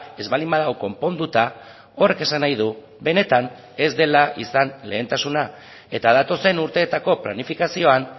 ez baldin badago konponduta horrek esan nahi du benetan ez dela izan lehentasuna eta datozen urteetako planifikazioan